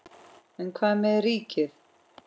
En hvað með ríkið?